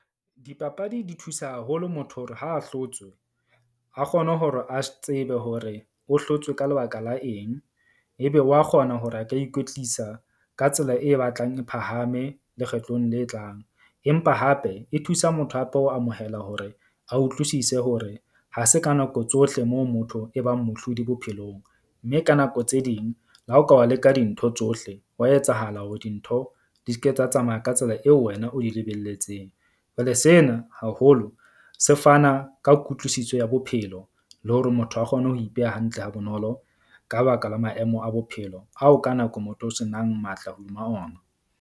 Dipapadi di thusa haholo motho hore ha a hlotswe, a kgone hore a tsebe hore o hlotswe ka lebaka la eng. Ebe wa kgona hore a ka ikwetlisa ka tsela e batlang e phahame lekgetlong le tlang. Empa hape e thusa motho hape ho amohela hore a utlwisise hore ha se ka nako tsohle moo motho e bang mohlodi bophelong. Mme ka nako tse ding le ha o ka wa leka dintho tsohle, wa etsahala hore dintho di ske tsa tsamaya ka tsela eo wena o di lebelletseng. Jwale sena haholo se fana ka kutlwisiso ya bophelo le hore motho a kgone ho ipeha hantle ha bonolo ka baka la maemo a bophelo ao ka nako motho o senang matla hodima ona.